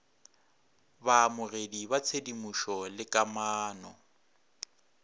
baamogedi ba tshedimošo le kamano